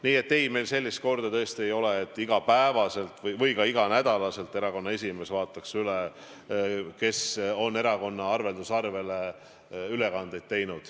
Nii et ei, meil sellist korda tõesti ei ole, et iga päev või ka iga nädal erakonna esimees vaataks üle, kes on erakonna arvelduskontole ülekandeid teinud.